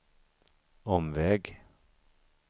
omväg